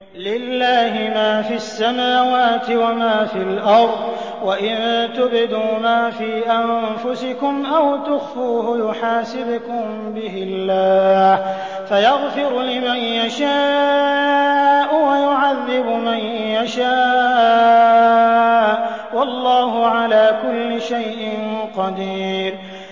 لِّلَّهِ مَا فِي السَّمَاوَاتِ وَمَا فِي الْأَرْضِ ۗ وَإِن تُبْدُوا مَا فِي أَنفُسِكُمْ أَوْ تُخْفُوهُ يُحَاسِبْكُم بِهِ اللَّهُ ۖ فَيَغْفِرُ لِمَن يَشَاءُ وَيُعَذِّبُ مَن يَشَاءُ ۗ وَاللَّهُ عَلَىٰ كُلِّ شَيْءٍ قَدِيرٌ